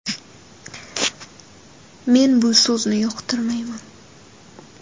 Men bu so‘zni yoqtirmayman.